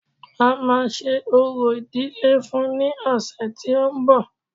A máa ṣe orò ìdílé fún-un ní ọ̀sẹ̀ tí ó ń bọ̀